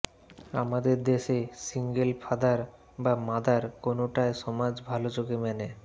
আমাদের দেশে single father বা মা কোনোটায় সমাজ ভালো চোখে মেনে